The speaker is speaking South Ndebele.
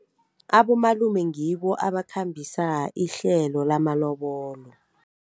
Abomalume ngibo abakhambisa ihlelo lamalobolo.